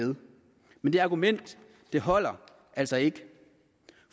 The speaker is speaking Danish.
med men det argument holder altså ikke